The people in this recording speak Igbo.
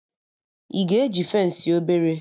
Ị ga eji fensị obere?